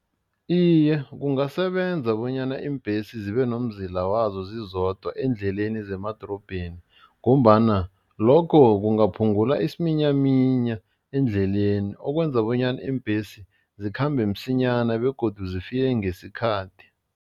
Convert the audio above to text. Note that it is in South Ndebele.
Iye, kungasebenza bonyana iimbesi zibe nomzila wazo zizodwa eendleleni zemadorobheni ngombana lokho kungaphungula isiminyaminya eendleleni okwenza bonyana iimbhesi zikhambe msinyana begodu zifike ngesikhathi.